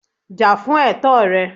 Jà fún ẹ̀tọ́ rẹ